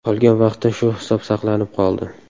Qolgan vaqtda shu hisob saqlanib qoldi.